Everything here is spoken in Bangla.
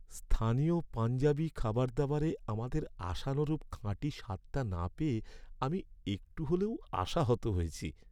স্থানীয় পাঞ্জাবী খাবারদাবারে আমাদের আশানুরূপ খাঁটি স্বাদটা না পেয়ে আমি একটু হলেও আশাহত হয়েছি।